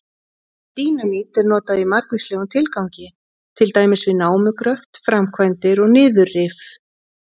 Dínamít er notað í margvíslegum tilgangi, til dæmis við námugröft, framkvæmdir og niðurrif.